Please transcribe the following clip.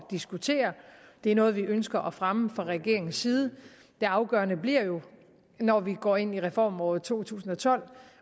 diskutere det er noget vi ønsker at fremme fra regeringens side det afgørende bliver jo når vi går ind i reformåret to tusind og tolv